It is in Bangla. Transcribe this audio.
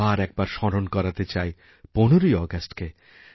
আবার একবার স্মরণ করাতে চাই ১৫ই আগস্টকে